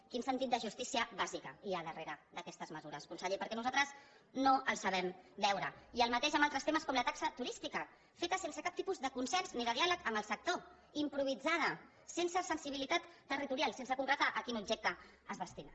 quin sentit de justícia bàsica hi ha darrere d’aquestes mesures conseller perquè nosaltres no el sabem veure i el mateix en altres temes com la taxa turística feta sense cap tipus de consens ni de diàleg amb el sector improvisada sense sensibilitat territorial sense concretar a quin objecte es destina